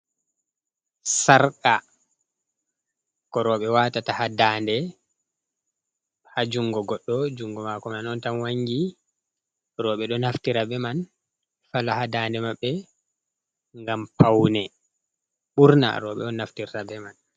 Sarka, ko roɓe watata ha dande, ha jungo goɗo jungo mako man on tan wangi, roɓe ɗo naftira be man fala ha dande maɓɓe, ngam paune. ɓurna roɓe on naftirtabe man.